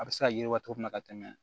A bɛ se ka yiriwa cogo min na ka tɛmɛ